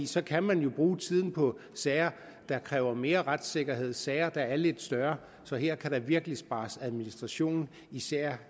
så kan man bruge tiden på sager der kræver mere retssikkerhed sager der er lidt større så her kan der virkelig spares administration især